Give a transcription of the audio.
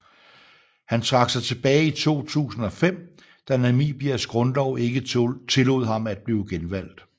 Han trak sig tilbage i 2005 da Namibias grundlov ikke tillod ham at blive genvalgt